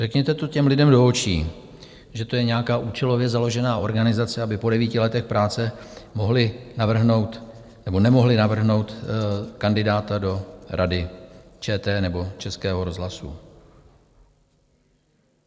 Řekněte to těm lidem do očí, že to je nějaká účelově založená organizace, aby po devíti letech práce mohli navrhnout nebo nemohli navrhnout kandidáta do Rady ČT nebo Českého rozhlasu.